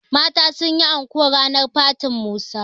mata sun yi anko ranar fatin Musa